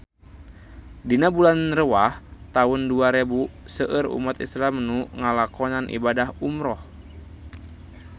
Dina bulan Rewah taun dua rebu seueur umat islam nu ngalakonan ibadah umrah